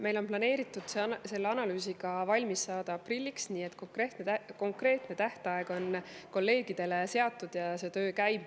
Meil on planeeritud see analüüs valmis saada aprilliks, konkreetne tähtaeg on kolleegidele seatud ja töö käib.